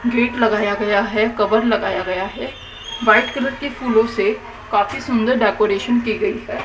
Kit लगाया गया है कवर लगाया गया है व्हाइट कलर के फुलों से काफी सुंदर डेकोरेशन की गई है।